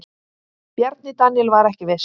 Bjarni Daníel var ekki viss.